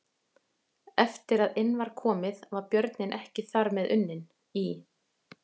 Eftir að inn var komið var björninn ekki þar með unninn: Í